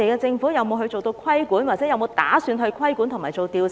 政府有沒有打算規管和進行調查？